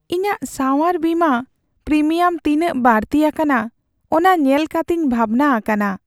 ᱤᱧᱟᱹᱜ ᱥᱟᱣᱟᱨ ᱵᱤᱢᱟᱹ ᱯᱨᱤᱢᱤᱭᱟᱢ ᱛᱤᱱᱟᱹᱜ ᱵᱟᱹᱲᱛᱤ ᱟᱠᱟᱱᱟ ᱚᱱᱟ ᱧᱮᱞ ᱠᱟᱛᱮᱧ ᱵᱷᱟᱵᱽᱱᱟ ᱟᱠᱟᱱᱟ ᱾